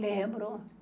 Lembro.